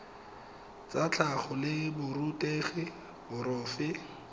tsa tlhago la borutegi porofe